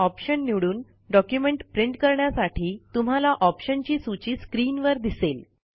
option निवडून document print करण्यासाठी तुम्हाला ऑप्शनची सूची स्क्रीनवर दिसेल